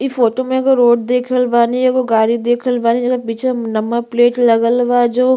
इ फोटो में एगो रोड देख रहल बानी एगो गाड़ी देख रहल बानी जेकर पीछे में नंबर प्लेट लगल बा जो --